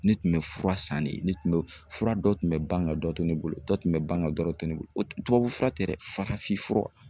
Ne tun bɛ fura san de, ne tun bɛ fura dɔ tun bɛ ban ka dɔ to ne bolo, dɔ tun bɛ ban ka dɔ to ne bolo, o tubabu fura tɛ dɛ farafin fura